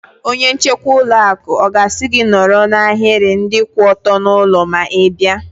Onye nchekwa ụlọ akụ ọ ga-asị gị nọrọ n'ahiri ndị kwụ ọtọ n'ụlọ ma Ị baa?